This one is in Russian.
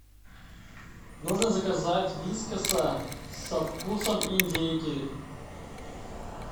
нужно заказать вискаса со вкусом индейки